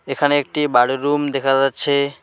এখানে একটি বাড়ির রুম দেখা যাচ্ছে।